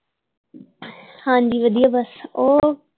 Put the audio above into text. ਹਾਂਜੀ ਵਧੀਆ ਬਸ ਉਹ।